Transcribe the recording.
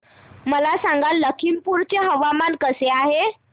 मला सांगा लखीमपुर चे हवामान कसे आहे